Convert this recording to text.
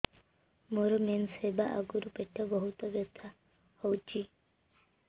ମୋର ମେନ୍ସେସ ହବା ଆଗରୁ ପେଟ ବହୁତ ବଥା ହଉଚି